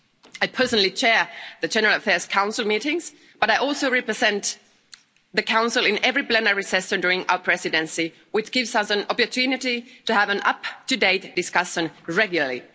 I personally chair the General Affairs Council meetings, but I also represent the Council in every plenary session during our Presidency, which gives us an opportunity to have an up to date discussion regularly.